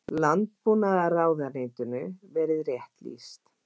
Landbúnaðarráðuneytinu verið rétt lýst.